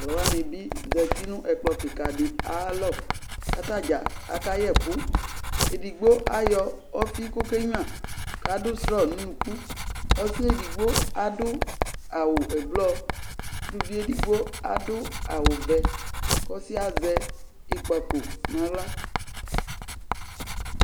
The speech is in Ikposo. Tʋ alʋ wanɩ bɩ zati nʋ ɛkplɔ kɩka dɩ ayalɔ kʋ ata dza akayɛ ɛkʋ Edigbo ayɔ ɔfɩ kʋ ɔkenyuǝ kʋ adʋ strɔ nʋ unuku Ɔsɩ yɛ edigbo adʋ awʋ ɛblɔ Uluvi edigbo adʋ awʋvɛ kʋ ɔsɩ yɛ azɛ ɩkpako nʋ aɣla